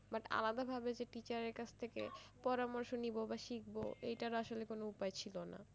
but আলাদাভাবে যে teacher এর কাছ থেকে পরামর্শ নেবো বা শিখব এটার আসলে কোনো উপায় ছিলো না